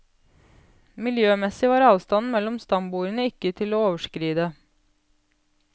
Miljømessig var avstanden mellom stambordene ikke til å overskride.